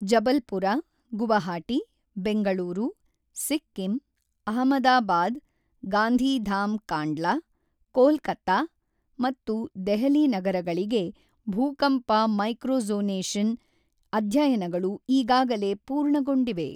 ಜಬಲ್ಪುರ, ಗುವಾಹಟಿ, ಬೆಂಗಳೂರು, ಸಿಕ್ಕಿಂ, ಅಹಮದಾಬಾದ್, ಗಾಂಧಿಧಾಮ್ ಕಾಂಡ್ಲಾ, ಕೋಲ್ಕತಾ ಮತ್ತು ದೆಹಲಿ ನಗರಗಳಿಗೆ ಭೂಕಂಪ ಮೈಕ್ರೋಝೋನೇಷನ್ ಅಧ್ಯಯನಗಳು ಈಗಾಗಲೇ ಪೂರ್ಣಗೊಂಡಿವೆ.